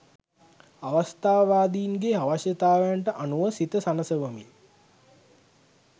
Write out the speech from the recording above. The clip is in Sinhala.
අවස්ථාවාදීන්ගේ අවශ්‍යතාවන්ට අනුව සිත සනසවමින්